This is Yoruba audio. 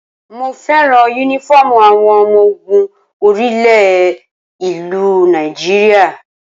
Mo fẹ́ràn Únífọ́ọ̀mù àwọn ọmọ ogun orí ilẹ̀ ìlú Nigeria